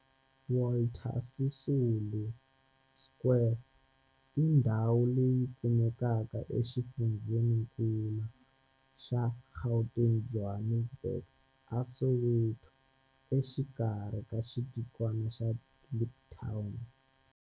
Walter Sisulu Square i ndhawu leyi kumekaka exifundzheninkulu xa Gauteng, Johannesburg, a Soweto, exikarhi ka xitikwana xa Kliptown.